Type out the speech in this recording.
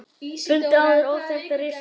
Fundu áður óþekkta risaeðlu